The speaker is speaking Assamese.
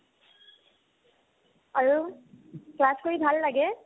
আৰু class কৰি ভাল লাগে